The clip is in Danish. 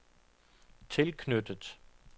tilknyttet